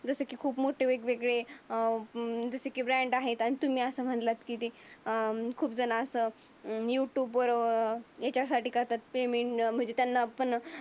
जसं की खूप मोठी वेगवेगळे अं ब्रँड आहेत. तुम्ही असे म्हणला की ते अं खूप झण अस युट्युब वर अं याच्यासाठी तर काय पेमेंट म्हणजे त्यांना आपण?